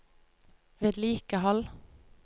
vedlikehold